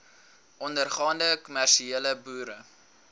ondergaande kommersiële boere